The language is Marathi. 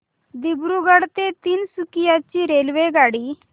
दिब्रुगढ ते तिनसुकिया ची रेल्वेगाडी